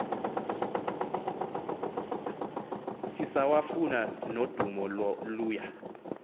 sisawafuna nodumo luya